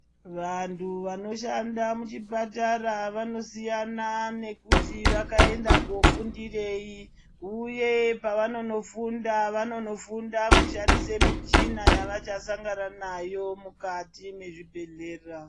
Vantu vanoshanda muchipatara vanosiyana ngekuti vakaenda kunofundirei uye pavanonofunda, vanofunda kushandise michina pavachasangana nayo mukati mezvibhedhera.